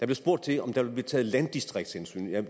der spurgt til om der ville blive taget landdistriktshensyn jeg